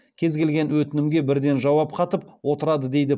кез келген өтінімге бірден жауап қатып отырады дейді